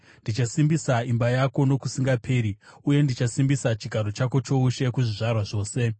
‘Ndichasimbisa imba yako nokusingaperi, uye ndichasimbisa chigaro chako choushe kuzvizvarwa zvose.’ ” Sera